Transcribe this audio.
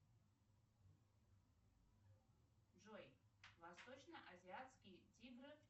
джой восточно азиатские тигры